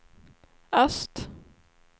öst